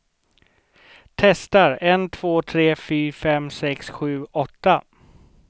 Testar en två tre fyra fem sex sju åtta.